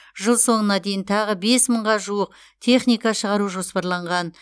жыл соңына дейін тағы бес мыңға жуық техника шығару жоспарланған